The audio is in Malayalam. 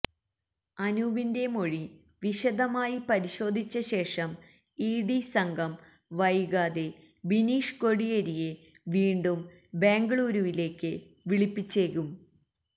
അനൂപിന്റെ മൊഴി വിശദമായി പരിശോധിച്ച ശേഷം ഇ ഡി സംഘം വൈകാതെ ബിനീഷ് കോടിയേരിയെ വീണ്ടും ബെംഗളുരുവിലേക്ക് വിളിപ്പിച്ചേക്കും